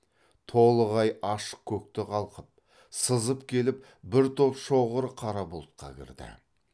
толық ай ашық көкті қалқып сызып келіп бір топ шоғыр қара бұлтқа кірді